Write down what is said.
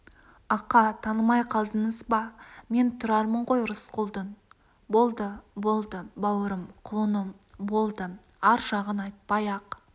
ақа танымай қалдыңыз ба мен тұрармын ғой рысқұлдың болды болды бауырым құлыным болды ар жағын айтпай-ақ